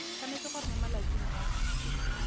tshwanetse gore mo malatsing a